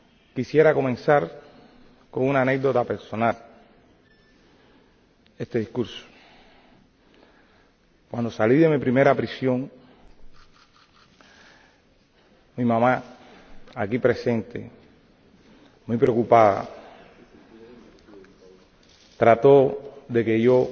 quisiera comenzar con una anécdota personal este discurso cuando salí de mi primera prisión mi mamá —aquí presente—, muy preocupada, trató de que yo